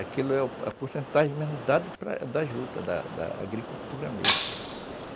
Aquilo é a porcentagem mesmo dada da juta, da agricultura mesmo. Certo.